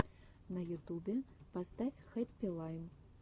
на ютубе поставь хэппи лайм